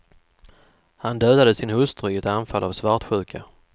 Han dödade sin hustru i ett anfall av svartsjuka.